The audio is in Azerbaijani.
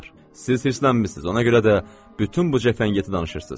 Siz hirslənmisiniz, ona görə də bütün bu cəfəngiyatı danışırsınız.